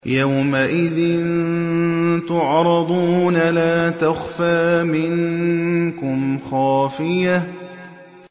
يَوْمَئِذٍ تُعْرَضُونَ لَا تَخْفَىٰ مِنكُمْ خَافِيَةٌ